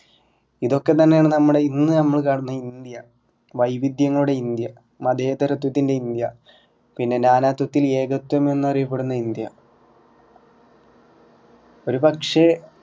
ഇതൊക്കെ തന്നെ ആണ്നമ്മടെ ഇന്ന് നമ്മള് കാണുന്ന ഇന്ത്യ വൈവിധ്യങ്ങളുടെ ഇന്ത്യ മതേതരത്വത്തിന്റെ ഇന്ത്യ പിന്നെ നാനാത്വത്തിൽ ഏകത്വം എന്നറിയപ്പെടുന്ന ഇന്ത്യ ഒരു പക്ഷെ